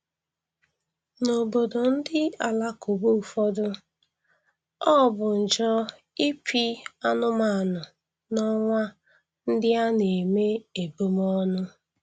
N'obodo ndị alakụba ụfọdụ, ọ bụ njọ ịpị anụmanụ n'ọnwa ndị a na-eme ebumọnụ